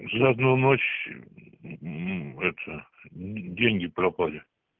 за одну ночь это деньги пропали